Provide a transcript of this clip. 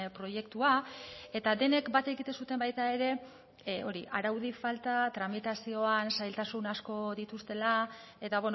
proiektua eta denek bat egiten zuten baita ere hori araudi falta tramitazioan zailtasun asko dituztela eta